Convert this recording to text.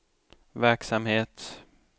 verksamhet